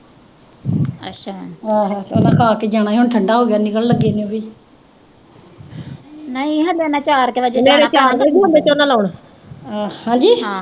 ਨਹੀਂ ਹਲੇ ਮੈਂ ਚਾਰ ਕੁ ਦਾ